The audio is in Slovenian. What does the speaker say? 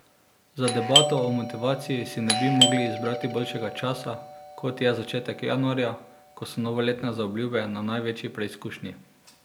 Za debato o motivaciji si ne bi mogli izbrati boljšega časa, kot je začetek januarja, ko so novoletne zaobljube na največji preizkušnji.